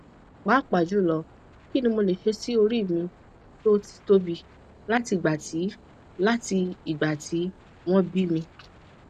papajulo kini mole se si ori mi to ti tobi lati igba ti lati igba ti won bimi